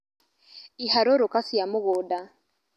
Iharũrũka cia mũgũnda